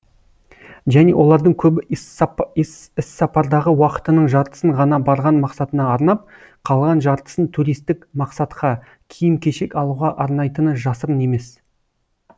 және олардың көбі іссапардағы уақытының жартысын ғана барған мақсатына арнап қалған жартысын туристік мақсатқа киім кешек алуға арнайтыны жасырын емес